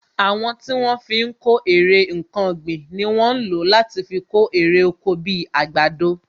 Àwọn tí wọ́n fi ń kó èrè nkan ọ̀gbìn ni wọ́n ń lò láti fi kó èrè oko bi àgbàdo